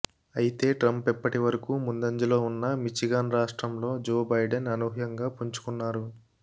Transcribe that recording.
అయితే ట్రంప్ ఇప్పటి వరకు ముందంజలో ఉన్న మిచిగాన్ రాష్ట్రంలో జో బైడెన్ అనూహ్యంగా పుంజుకున్నారు